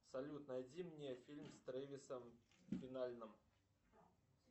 салют найди мне фильм с тревисом финальным